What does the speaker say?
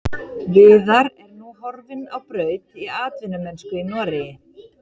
Viðar er nú horfinn á braut í atvinnumennsku í Noregi.